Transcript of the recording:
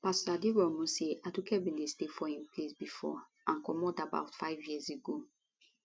pastor aderounmu say aduke bin dey stay for im place bifor and comot about five years ago